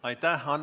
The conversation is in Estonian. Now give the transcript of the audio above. Aitäh!